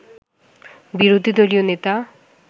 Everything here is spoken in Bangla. বিরোধী দলীয় নেতা